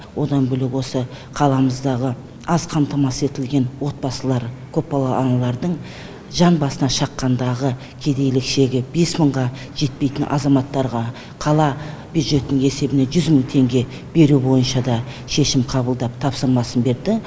одан бөлек осы қаламыздағы аз қамтамасыз етілген отбасылар көпбалалы аналардың жан басына шаққандағы кедейлік шегі бес мыңға жетпейтін азаматтарға қала бюджетінің есебінен жүз мың теңге беру бойынша да шешім қабылдап тапсырмасын берді